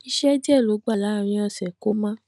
iṣẹ díẹ ló gbà láàárín òsè kó má